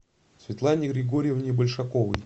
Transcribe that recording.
светлане григорьевне большаковой